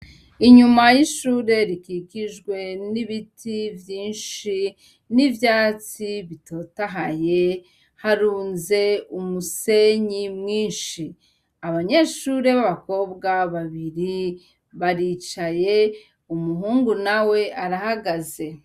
Inyuma y'ishure rikikijwe n'ibiti vyinshi n'ivyatsi bitotahaye, harunze umusenyi mwinshi. Abanyeshure b'abakobwa babiri baricaye umuhungu nawe arahagaze.